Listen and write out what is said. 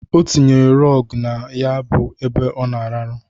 Ọ tinyere rọgụ na ya bụ ebe ọ na-arahụ.